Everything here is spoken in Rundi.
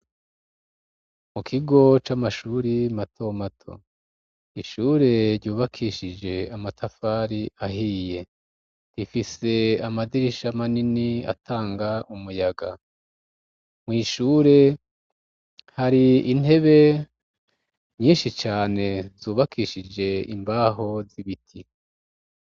Aha ni ho mwize amashure yanje mato mato ni amashure ameze neza yubatswe kera, ariko, kandi yubatswe mu vyumuba bikomeye ko arakomeye ikindi, kandi hari ikibuga kiniya cane twakunda kkwakinira umupira haragutse hameze neza umwana wese arakina yisanzuye ata kugundana n'abandi n'ishure ryiza twahakuye ubumenyi, kandi turashima.